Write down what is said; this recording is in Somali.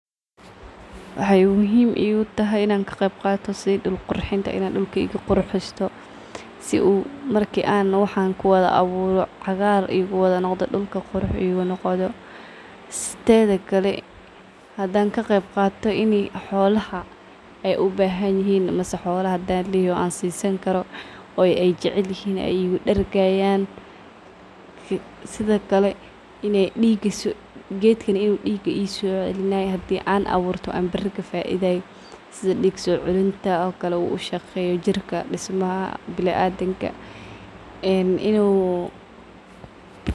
Waxay muhim iqutahay inaa kaqeeb qaato sidhii duul qurxinta inaa dulkayqi qurxisto sii uu marki aan waxan kuwadha abuuro cagaar iguwadha noqdo dulka qurux igunoqdo. Tedhi kale hadaan kaqebtgato inii xoolaha aay ubahanihin mise xoolaha hadan layhay an sisaani karo oo ay jeclihin igu dargayan. Sidhi kale geed kaan inuu diga iso cilinayo hadan aan aburto aan bari kafaidhayo sidha dig soo cilintaa okale uu shaqeyo jirka dismaha binadimka een inuu..